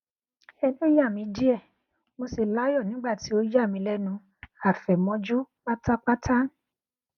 ẹnu ya mi diẹ mo si layọ nigba ti o yami lẹnu afẹmọju patapata